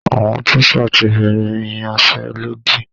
Àwọn tíṣà ti bẹ̀rẹ̀ ìyanṣẹ́lódì